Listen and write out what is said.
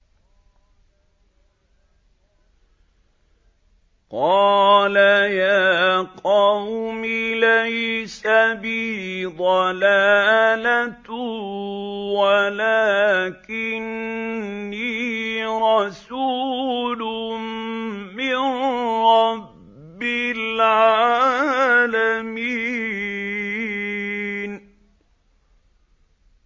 قَالَ يَا قَوْمِ لَيْسَ بِي ضَلَالَةٌ وَلَٰكِنِّي رَسُولٌ مِّن رَّبِّ الْعَالَمِينَ